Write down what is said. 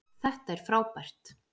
Þetta er frábært